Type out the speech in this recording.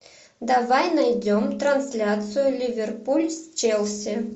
давай найдем трансляцию ливерпуль с челси